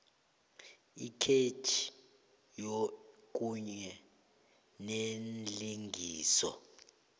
ikhetjhi kunye neenlinganiso